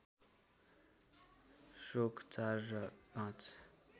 श्लोक ४ र ५